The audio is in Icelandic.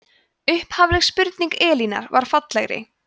upprunaleg spurning elínar var fallegri